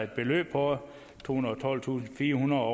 beløb på tohundrede og tolvtusindfirehundrede